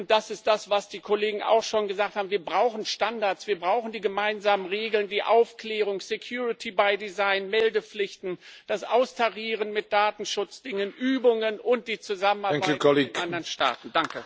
Das ist das, was die Kollegen auch schon gesagt haben, wir brauchen Standards, wir brauchen die gemeinsamen Regeln, die Aufklärung, security by design Meldepflichten, das Austarieren mit Datenschutzdingen, Übungen und die Zusammenarbeit mit anderen Staaten.